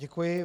Děkuji.